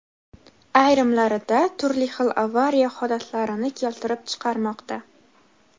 ayrimlarida turli xil avariya holatlarini keltirib chiqarmoqda.